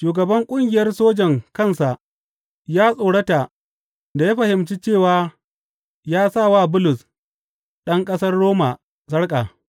Shugaban ƙungiyar sojan kansa ya tsorata da ya fahimci cewa ya sa wa Bulus, ɗan ƙasar Roma sarƙa.